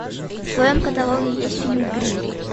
в твоем каталоге есть фильм гримм